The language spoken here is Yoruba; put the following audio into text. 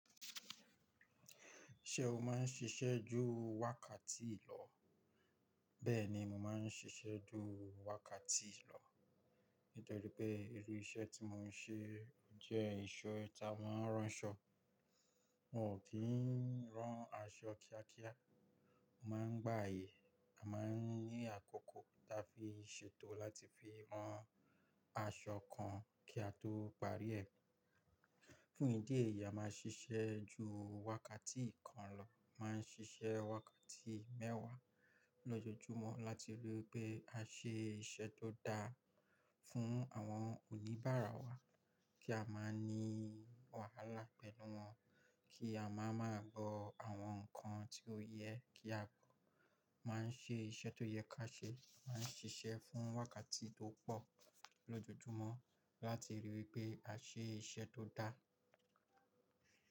Ṣé o má ń ṣiṣẹ́ ju wákàtí ìlọ́? Bẹ́ẹ̀ni, mo má ń ṣiṣẹ́ ju wákàtí lọ́. Nítorí pé irú iṣẹ́ tí mo ń ṣe jẹ́ ìṣe ta, mo ń rán aṣọ. Mi ò ki ń rán aṣọ kíá kíá. Mo má ń gba àyè, a má ń ní àkókò tí a fi ṣètò láti fi rán aṣọ kan kí a tó parí ẹ̀. Fún ìdí èyí, a má ń ṣiṣẹ́ ju wákàtí kan lọ. A má ń ṣiṣẹ́ wákàtí mẹ́wàá lójoojúmọ́ láti rí i pé a ṣe iṣẹ́ tó dáa fún àwọn oníbàárà wa, kí a má ní wàhálà pẹ̀lú wọn, kí a má má gbọ́ àwọn ǹkan tí ó yẹ kí á gbọ́. A má ń ṣe iṣẹ́ tó yẹ ká ṣe, a má ń ṣiṣẹ́ fún wákàtí tó pọ̀ lójoojúmọ́ láti rí i pé a ṣe iṣẹ́ tó dáa.